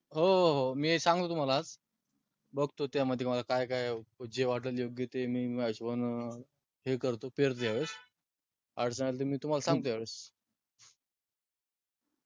हो हो मी सांगतो तुम्हाला आज. बगतो मला त्यामध्ये काय काय जे वाटण योग्य त्या हिशोबाने हे करतो पेरतो अडचण आली कि मी सांगतो तुम्हाला या वेळेस.